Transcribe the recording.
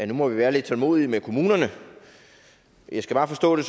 nu må vi være lidt tålmodige med kommunerne jeg skal bare forstå det